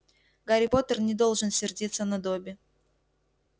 гарри поттер не должен сердиться на добби